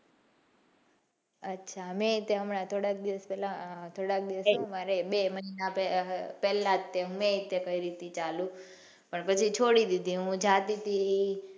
અચ્છા મેં હમણાં થોડાક દિવસો બે મહિના પેલા જ મેં ત્યાં કરી હતી ચાલુ પછી છોડી દીધી હું જતી હતી.